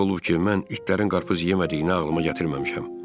Necə olub ki, mən itlərin qarpız yemədiyini ağlıma gətirməmişəm.